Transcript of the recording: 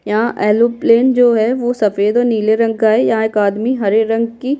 यहाँ aeroplane जो है वो सफेद और नीले रंग का है यहाँ एक आदमी हरे रंग की --